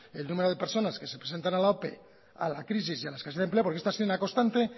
el número de personas que se presentan a la ope a la crisis y a la escasez de empleo porque esto ha sido una constante